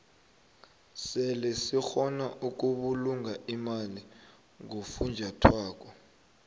sebe sikgona ukubulunga imali ngofunjathwako